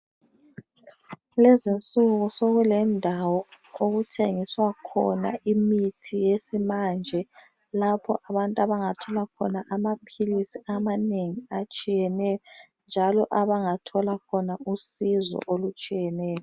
Lezinsuku sekulendawo okuthengiswa khona imithi yesimanje lapho abantu abangathola khona amaphilisi amanengi atshiyeneyo njalo abangathola khona usizo olutshiyeneyo.